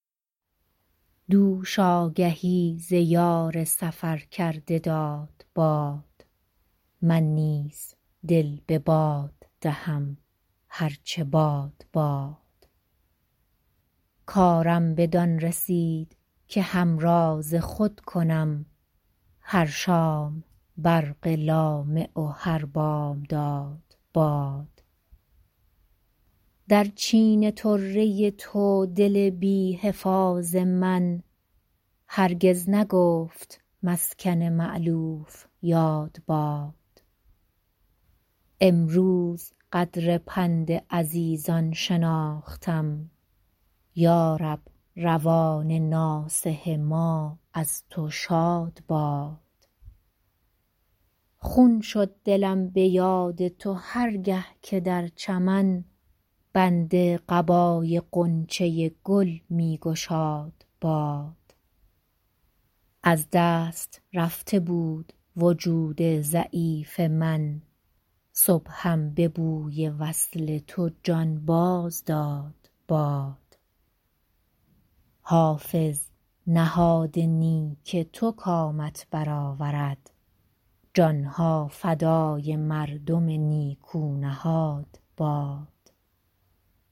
دوش آگهی ز یار سفر کرده داد باد من نیز دل به باد دهم هر چه باد باد کارم بدان رسید که همراز خود کنم هر شام برق لامع و هر بامداد باد در چین طره تو دل بی حفاظ من هرگز نگفت مسکن مألوف یاد باد امروز قدر پند عزیزان شناختم یا رب روان ناصح ما از تو شاد باد خون شد دلم به یاد تو هر گه که در چمن بند قبای غنچه گل می گشاد باد از دست رفته بود وجود ضعیف من صبحم به بوی وصل تو جان باز داد باد حافظ نهاد نیک تو کامت بر آورد جان ها فدای مردم نیکو نهاد باد